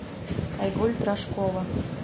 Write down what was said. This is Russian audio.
айгуль трошкова